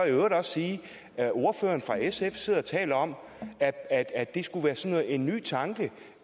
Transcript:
i øvrigt sige at ordføreren fra sf sidder og taler om at at det skulle være sådan en ny tanke